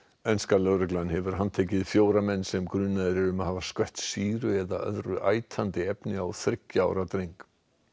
lögreglan hefur handtekið fjóra menn sem eru grunaðir um að hafa skvett sýru eða öðru efni á þriggja ára dreng